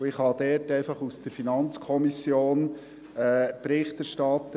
Ich kann dazu aus der FiKo Bericht erstatten.